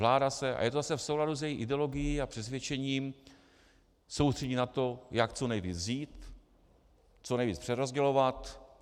Vláda se, a je to zase v souladu s její ideologií a přesvědčením, soustředí na to, jak co nejvíc vzít, co nejvíc přerozdělovat.